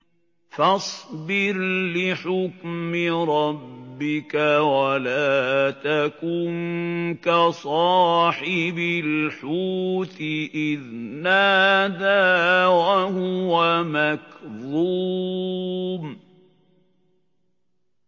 فَاصْبِرْ لِحُكْمِ رَبِّكَ وَلَا تَكُن كَصَاحِبِ الْحُوتِ إِذْ نَادَىٰ وَهُوَ مَكْظُومٌ